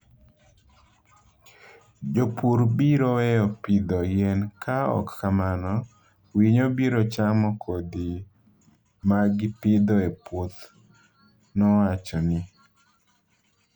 "Jopur biro weyo pidho yien ka ok kamano, winyo biro chamo kodhi ma gipidho e puoth", nowacho ni.